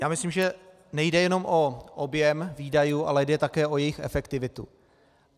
Já myslím, že nejde jenom o objem výdajů, ale jde také o jejich efektivitu.